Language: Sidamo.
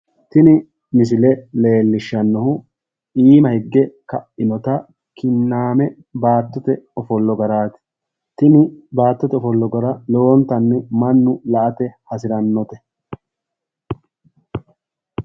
Tini misile leellishshannohu iima higge ka'inota kinnaame baattote ofollo garaati tini baattote ofollo gara lowontanni mannu la"ate hasirannote